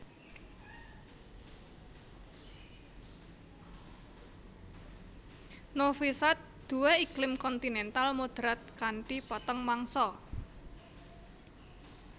Novi Sad duwé iklim kontinental moderat kanthi patang mangsa